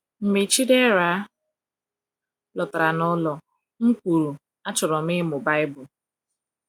Mgbe Chidera lọtara n’ụlọ, m kwuru, "Achọrọ m ịmụ Baịbụl."